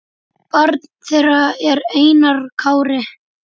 Barn þeirra er Einar Kári.